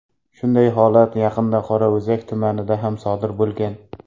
Shunday holat yaqinda Qorao‘zak tumanida ham sodir bo‘lgan.